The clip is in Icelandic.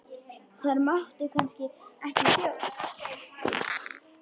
Þær máttu kannski ekki sjást?